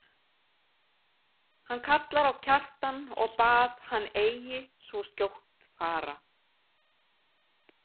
Hann kallar á Kjartan og bað hann eigi svo skjótt fara.